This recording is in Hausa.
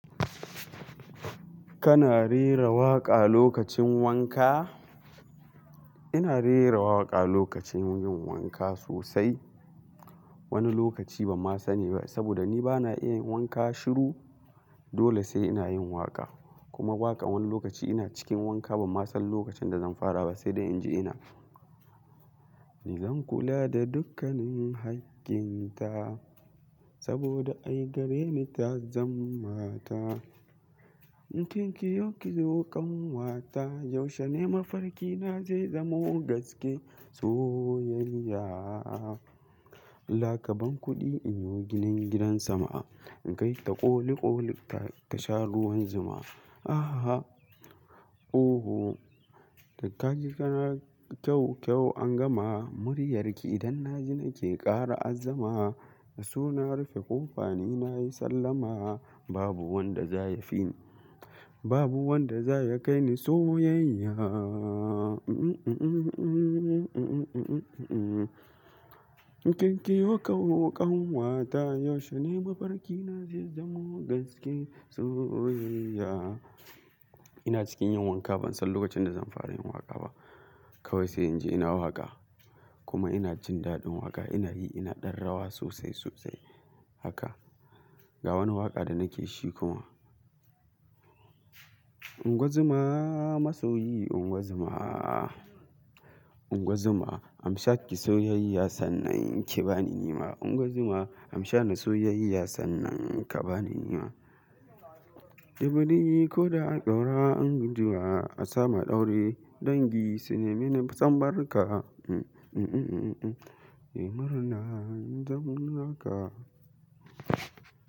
Kana rera waƙa lokacin wanka? Ina rera waƙa lokacin yin wanka sosai. Wani lokaci ban ma sani ba saboda ni bana iya yin wanka shiru. Dole sai ina yin waƙa kuma waƙa wani lokaci ina cikin wanka ban ma san lokacin da zan fara ba sai da in ji ina. Ni zan kula da dukkanin haƙƙin ta saboda ai gare ni ta zan mata. In kin kiyo ki zo ƙanwa ta, yaushe ne mafarki na zai zamo gaske soyayya. Laka ban kuɗi in yo ginin gidan sama, in kai ta ƙoli ƙoli ta sha ruwan zuma. Aha! Oo! Da ka ji kana kyau kyau an gama, muryarki idan na ji nake ƙara azzama. Da suna rufe ƙofa ni na yi sallama, babu wanda zai ya fi babu wanda zai ya kai ni soyayya. In kin kiyo ka zo ƙanwa ta, yaushe ne mafarki na zai zamo gaske soyayya. Ina cikin yin wanka ban san lokacin da zan fara yin waƙa ba. Kawai sai in ji ina waƙa kuma ina jin daɗin waƙa. Ina yi ina ɗan rawa sosai sosai haka ga wani waƙa da nake shi kuma. Ungozuma masoyi ungozuma, ungozuma amsa ki soyayya sannan ki bani nema. Ungozuma amsa na soyayya sannan ka bani nema. E buɗe ko da a ƙaura an guzuwa, a samu aure dangi, suna mini sambar ka. Nemar na zamar ka.